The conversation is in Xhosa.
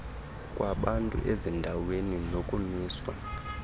kwabantu ezindaweni nokumiswa